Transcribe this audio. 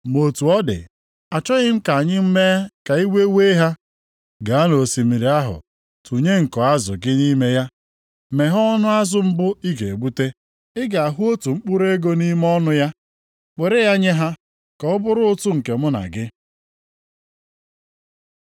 Ma otu ọ dị, achọghị m ka anyị mee ka iwe wee ha. Gaa nʼosimiri ahụ tụnye nko azụ gị nʼime ya. Meghe ọnụ azụ mbụ ị ga-egbute. Ị ga-ahụ otu mkpụrụ ego nʼime ọnụ ya. Were ya nye ha, ka ọ bụrụ ụtụ nke mụ na gị.”